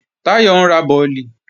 Táyọ̀ ń ra bọ̀lì